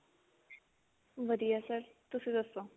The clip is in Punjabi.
ਵਧੀਆ sir ਤੁਸੀਂ ਦੱਸੋ